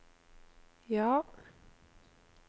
ja